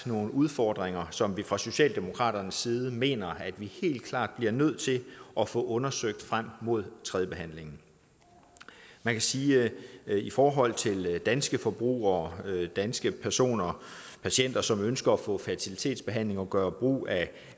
nogle udfordringer som vi fra socialdemokratiets side mener at vi helt klart bliver nødt til at få undersøgt frem mod tredjebehandlingen man kan sige at i forhold til danske forbrugere danske patienter som ønsker at få fertilitetsbehandling og gøre brug af